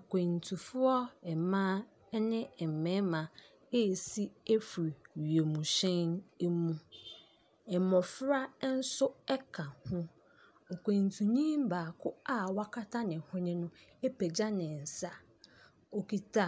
Akwantufoɔ mmaa ne mmarima resi afiri wiemhyɛn mu. Mmɔfra nso ka ho. Ɔkwantuni baako a wakata ne hwene no apagya ne nsa. Ɔkita